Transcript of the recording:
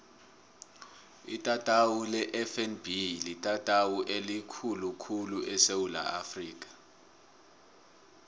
itatawu lefnb litatawu elikhulu khulu esewula afrika